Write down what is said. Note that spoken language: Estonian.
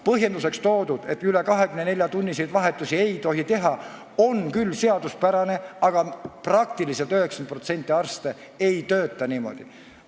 Põhjenduseks toodu, et üle 24-tunniseid vahetusi ei tohi teha, on küll seaduspärane, aga 90% arste tegelikult niimoodi ei tööta.